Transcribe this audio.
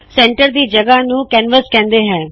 centre ਦੀ ਜਗਹ ਨੂ ਕੈਨਵਸ ਕਹਿਂਦੇ ਨੇ